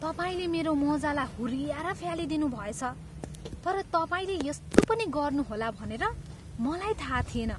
तपाईँले मेरो मोजालाई हुर्ऱ्याएर फ्यालिदिनुभएछ तर तपाईँले यस्तो पनि गर्नुहोला भनेर मलाई थाहा थिएन।